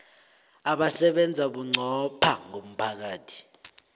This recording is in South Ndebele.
abasebenza bunqopha ngomphakathi